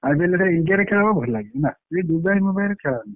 IPL ଏଇଥର india ରେ ଖେଳ ହବ ଭଲ ଲାଗିବ ନା ଇଏ ଦୁବାଇ ମୁବାଇ ରେ ଖେଳ ନୁହେଁ।